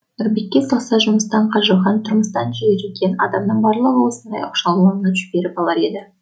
нұрбекке салса жұмыстан қажыған тұрмыстан жеріген адамның барлығын осындай оқшауларға жіберіп алар еді